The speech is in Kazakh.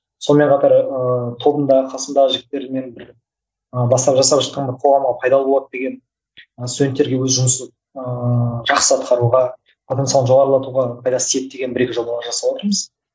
сонымен қатар ыыы тобымдағы қасымдағы жігіттермен бір ы бастау жасап жатқанға қоғамға пайдалы болады деген ы студенттерге өз жұмысын ыыы жақсы атқаруға потенциалын жоғарылатуға пайдасы тиеді деген бір екі жобалар жасаватырмыз